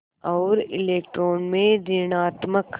और इलेक्ट्रॉन में ॠणात्मक